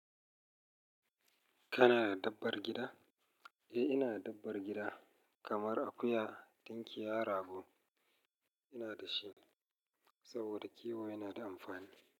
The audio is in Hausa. Kana da dabbar gida? Eh, ina da dabbar gida kamar akuya, tunkiya, rago ina da shi saboda kiwo yana da amfani.